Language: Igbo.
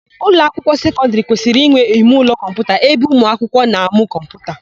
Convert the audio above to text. Ụlọakwụkwọ sekọndịrị kwesịrị inwe imeụlọ kọmputa ebe ụmụakwụkwọ na-amụ kọmputa.